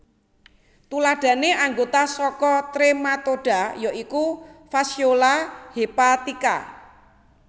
Tuladhané anggota saka Trematoda ya iku Fasciola hepatica